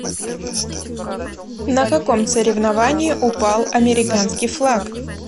на каком соревновании упал американский флаг